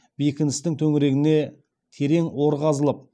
бекіністің төңірегіне терең ор қазылып